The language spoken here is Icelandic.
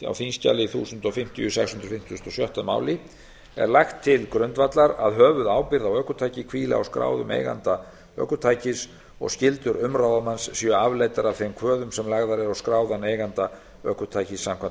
á þingskjali þúsund fimmtíu sex hundruð fimmtugasta og sjötta máli e lagt til grundvallar að höfuðábyrgð á ökutæki hvíli á skráðum eiganda ökutækis og skyldur umráðamanns séu afleiddar af þeim kvöðum sem lagðar eru á skráðan eiganda ökutækis samkvæmt